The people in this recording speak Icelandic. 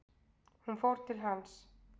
Hún fór til hans.